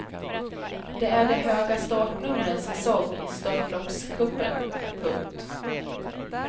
Det är de höga startnumrens säsong i störtloppscupen. punkt